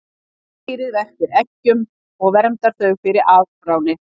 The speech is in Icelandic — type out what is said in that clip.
Kvendýrið verpir eggjum og verndar þau fyrir afráni.